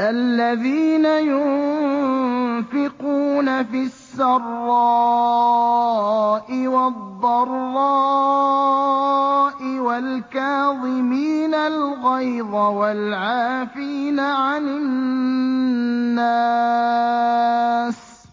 الَّذِينَ يُنفِقُونَ فِي السَّرَّاءِ وَالضَّرَّاءِ وَالْكَاظِمِينَ الْغَيْظَ وَالْعَافِينَ عَنِ النَّاسِ ۗ